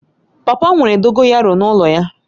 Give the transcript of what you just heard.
Papa m nwere dogoyaru n'ulo ya